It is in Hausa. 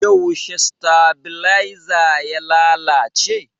Yaushe stabiaiza ya lalace?